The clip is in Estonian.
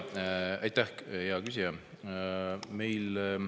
Aitäh, hea küsija!